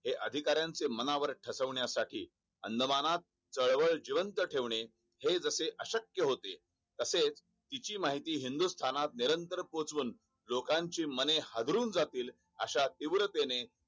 हे अधिकऱयांच्या मनावर ठसविण्यासाठी अंडमान तरवर जिवंत ठेवणे हे जसे अक्शक्य होते. तसेच तिची माहिती हिंन्दुस्थानात निरंतर पोहोचवुन लोकांची माने हादरून जातील अश्या तीव्रतेने